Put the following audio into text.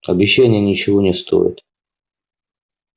обещания ничего не стоят